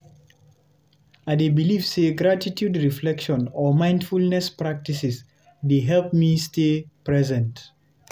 I dey believe say gratitude reflection or mindfulness practices dey help me stay present.